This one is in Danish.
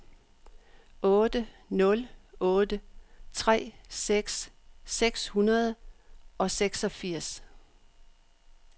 otte nul otte tre tres seks hundrede og seksogfirs